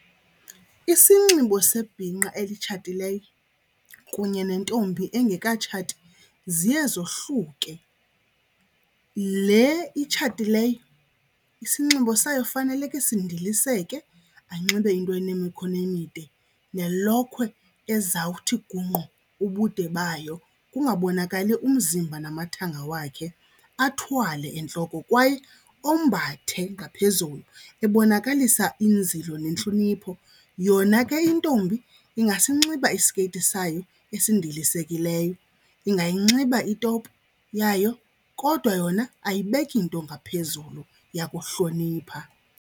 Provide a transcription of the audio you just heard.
Isinxibo sebhinqa elitshatileyo kunye nentombi engekatshati ziye zohluke. Le itshatileyo isinxibo sayo faneleke sindiliseke anxibe into enemikhono emide nelokhwe ezawuthi gungqu ubude bayo kungabonakali umzimba namathanga wakhe, athwale entloko kwaye ombathe ngaphezulu ebonakalisa inzilo nentlonipho. Yona ke intombi ingasinxiba isikeyiti sayo esindilisekileyo, ingayinxiba itopu yayo kodwa yona ayibekeki nto ngaphezulu yakuhlonipha.